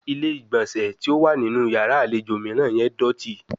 Ile-igbọnsẹ ti o wa ninu yara alejo miiran ye doti